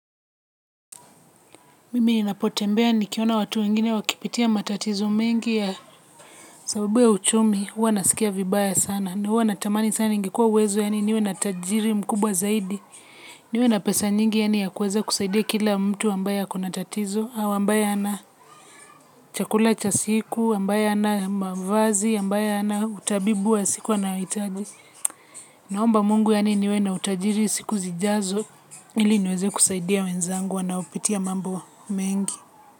Mimi ni napotembea ni kiona watu wengine wakipitia matatizo mingi ya sabubu ya uchumi. Uwa nasikia vibaya sana. Uwa natamani sana ingekuwa uwezo ya ni niwe na tajiri mkubwa zaidi. Niwe na pesa nyingi ya ni ya kueze kusaidia kila mtu ambaya ako na tatizo. Awa ambaye ana chakula chasiku, ambaya ana mavazi, ambaye ana utabibu wa siku wana itaji. Naomba mungu yani niwe na utajiri siku zijazo. Ili niweze kusaidia wenzangu wanao pitia mambo mengi.